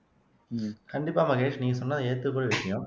உம் கண்டிப்பா மகேஷ் நீங்க சொன்னது ஏத்துக்கக்கூடிய விஷயம்